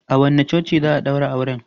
A wanne coci za a ɗaura auren?